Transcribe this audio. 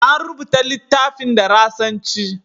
An rubuta littafin da Rashanci.